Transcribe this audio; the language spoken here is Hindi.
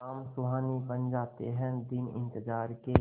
शाम सुहानी बन जाते हैं दिन इंतजार के